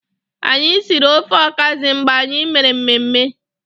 Anyi siri ofe ọkazị mgbe anyi mere mmemme.